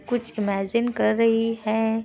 कुछ इमैजिन कर रही है।